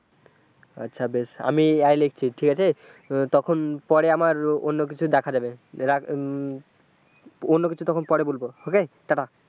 আচ্ছা বেশ আমি আই লিখছি ঠিক আছে তখন পরে আমার অন্য কিছু দেখা যাবে রাখ, অন্য কিছু তখন পরে বলব okay tata